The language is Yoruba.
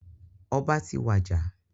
Ọba ti wàjà.